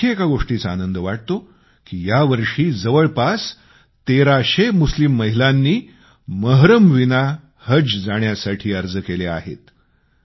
मला आणखी एका गोष्टीचा आनंद वाटतो की यावर्षी जवळपास तेराशे मुस्लिम महिलांनी महरमविना हज यात्रेला जाण्यासाठी अर्ज केले आहेत